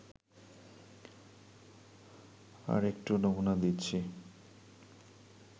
তার একটু নমুনা দিচ্ছি